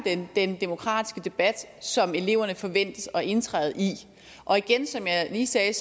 den demokratiske debat som eleverne forventes at indtræde i og igen som jeg lige sagde er